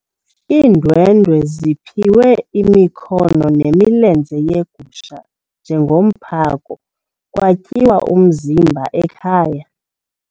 Iindwendwe ziphiwe imikhono nemilenze yegusha njengomphako kwatyiwa umzimba ekhaya.